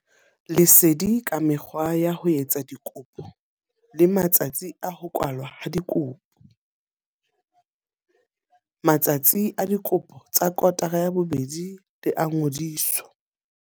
Lesedi ka mekgwa ya ho etsa dikopo le matsatsi a ho kwalwa ha dikopo. Matsatsi a dikopo tsa kotara ya bobedi le a ngodiso.